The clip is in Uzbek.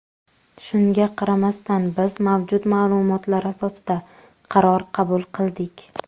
Shunga qaramasdan, biz mavjud ma’lumotlar asosida qaror qabul qildik.